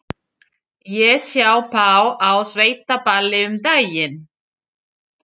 Ég sá þá á sveitaballi um daginn.